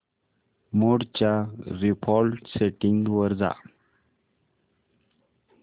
मोड च्या default settings वर जा